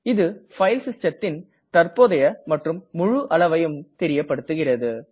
இது பைல் systemதின் தற்ப்போதைய மற்றும் முழு அளவையும் தெரியப்படுத்துகிறது